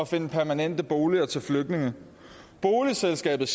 finde permanente boliger til flygtninge boligselskabet